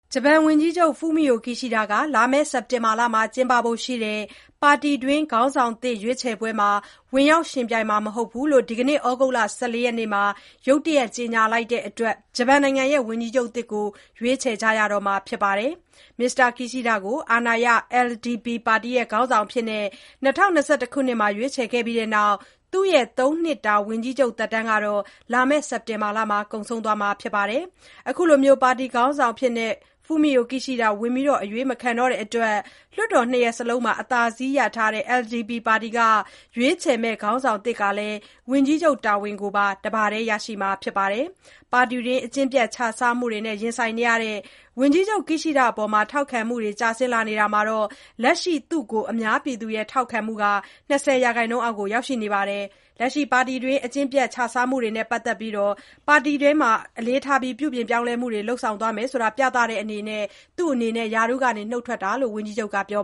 ဂျပန်ဝန်ကြီးချုပ် Fumio Kishida က လာမယ့် စက်တင်ဘာလမှာ ကျင်းပဖို့ရှိတဲ့ ပါတီတွင်း ခေါင်းဆောင်သစ် ရွေးချယ်ပွဲမှာ ဝင်ရောက် ယှဉ်ပြိုင်မှာမဟုတ်ကြောင်း ဒီကနေ့ ဩဂုတ်လ ၁၄ ရက်နေ့မှာ ရုတ်တရက် ကြေညာလိုက်တဲ့အတွက် ဂျပန်နိုင်ငံရဲ့ ဝန်ကြီးချုပ်သစ်ကို ရွေးချယ်ကြရတော့မှာပါ။ မစ္စတာ Kishida ကို အာဏာရ LDP ပါတီရဲ့ ခေါင်းဆောင်အဖြစ် ၂၀၂၁ ခုနှစ်မှာ ရွေးချယ်လိုက်ပြီးတဲ့နောက် သူ့ရဲ့ ၃ နှစ်တာ ဝန်ကြီးချုပ် သက်တမ်းဟာ လာမယ့် စက်တင်ဘာလမှာ ကုန်ဆုံးတော့မှာ ဖြစ်ပါတယ်။ သူ အခုလို ပါတီခေါင်းဆောင်အဖြစ် ဝင်အရွေးမခံတော့တဲ့အတွက် လွှတ်တော် ၂ ရပ်စလုံးမှာ အသာစီးရထားတဲ့ LDP ပါတီက ရွေးချယ်မယ့် ခေါင်းဆောင်သစ်ဟာလည်း ဝန်ကြီးချုပ်တာဝန်ပါ တပါတည်း ရရှိမှာဖြစ်ပါတယ်။ ပါတီတွင်း အကျင့်ပျက် ခြစားမှုတွေနဲ့ ရင်ဆိုင်နေရတဲ့ ဝန်ကြီးချုပ် Kishida အပေါ် ထောက်ခံမှုတွေ ကျဆင်းလာနေတာမှာ လက်ရှိ သူ့ကို အများပြည်သူရဲ့ ထောက်ခံမှုက ၂၀% အောက်ကို ရောက်ရှိနေပါတယ်။ လက်ရှိ ပါတီတွင်းဖြစ်ပေါ်နေတဲ့ အကျင့်ပျက် ခြစားမှုတွေနဲ့ပတ်သက်လို့ ပါတီအနေနဲ့ အလေးထားပြီး ပြုပြင်ပြောင်းလဲမှုတွေ လုပ်ဆောင်သွားမယ် ဆိုတာကို ပြသတဲ့အေနနဲ့ သူ့အနေနဲ့ ရာထူးကနေ အခုလို နုတ်ထွက်လိုက်ခြင်းဖြစ်ကြောင်း ဝန်ကြီးချုပ်က ပြော